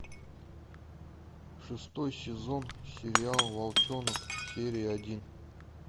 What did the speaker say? шестой сезон сериал волчонок серия один